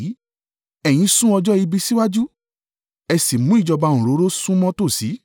Ẹ̀yin sún ọjọ́ ibi síwájú, ẹ sì mú ìjọba òǹrorò súnmọ́ tòsí.